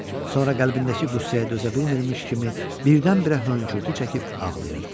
Sonra qəlbindəki qüssəyə dözə bilmirmiş kimi birdən-birə hönkürtü çəkib ağlayırdı.